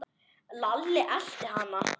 Lalli elti hann.